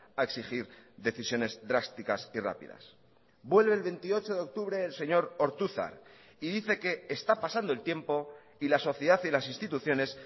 a exigir decisiones drásticas y rápidas vuelve el veintiocho de octubre el señor ortuzar y dice que está pasando el tiempo y la sociedad y las instituciones